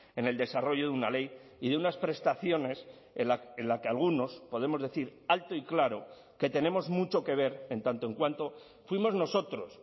en el desarrollo de una ley y de unas prestaciones en la que algunos podemos decir alto y claro que tenemos mucho que ver en tanto en cuanto fuimos nosotros